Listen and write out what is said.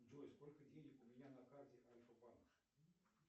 джой сколько денег у меня на карте альфа банк